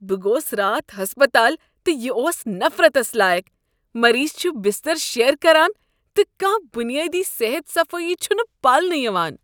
بہٕ گوس راتھ ہسپتال تہٕ یہ اوس نفرتس لایق۔ مریض چھ بستر شییر کران تہٕ کانٛہہ بنیٲدی صحت صفٲیی چھنہٕ پالنہٕ یوان۔